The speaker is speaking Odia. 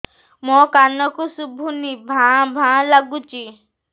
ମୋ କାନକୁ ଶୁଭୁନି ଭା ଭା ଲାଗୁଚି